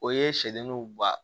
O ye sɛdenninw ba